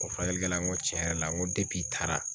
O furakɛlikɛla n ko tiɲɛ yɛrɛ la n ko i taara